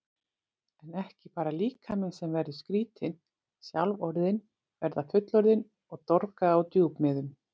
En ekki bara líkaminn sem verður skrýtinn, sjálf orðin verða fullorðin og dorga á djúpmiðum.